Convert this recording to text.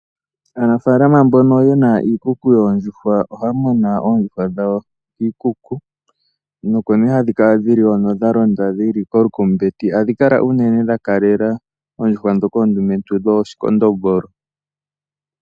Aanafalama mboka yena iikuku yondjuhwa ohaya muna ondjuhwa dhawo kiikuku .Oko nee hadhi kala dhili ko dhalonda kolukumbeti ohadhi kala ko unene dhakalela oondjuhwa dhoka ondumentu dhoshi kondombolo.